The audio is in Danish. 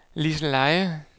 Liseleje